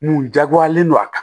Mun diyagoyalen don a kan